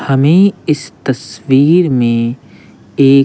हमें इस तस्वीर में एक--